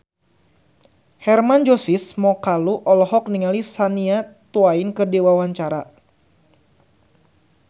Hermann Josis Mokalu olohok ningali Shania Twain keur diwawancara